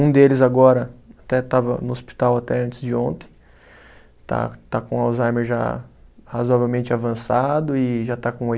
Um deles agora até estava no hospital até antes de ontem, está está com Alzheimer já razoavelmente avançado e já está com oi